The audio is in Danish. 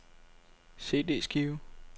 CD-skive